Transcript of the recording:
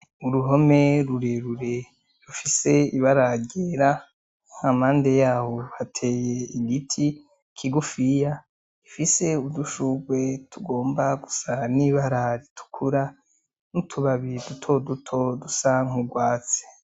Uruhome rurerure rufise ibara ryera hampande yaho hateye igiti kigufiya gifise udushurwe tugomba gusa n'ibara ritukura n'utubabi dutoduto dusa nk'urwatsi.